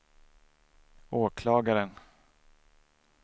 åklagaren